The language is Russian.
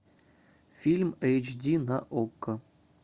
фильм эйч ди на окко